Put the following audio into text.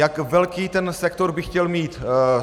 Jak velký ten sektor by chtěl mít?